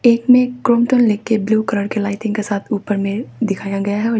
इक में क्रॉम्पटन लिख के ब्लू कलर के लाइटिंग के साथ ऊपर में दिखाया गया है और जि --